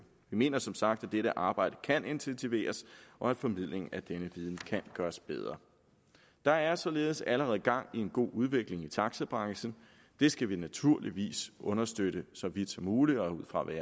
mener som sagt at dette arbejde kan intensiveres og at formidlingen af denne viden kan gøres bedre der er således allerede gang i en god udvikling i taxabranchen det skal vi naturligvis understøtte så vidt som muligt og ud fra hvad